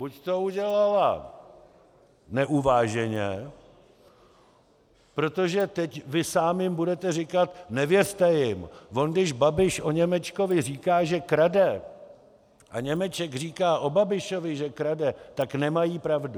Buď to udělala neuváženě, protože teď vy sám jim budete říkat: nevěřte jim, on když Babiš o Němečkovi říká, že krade, a Němeček říká o Babišovi, že krade, tak nemají pravdu.